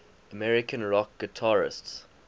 american rock guitarists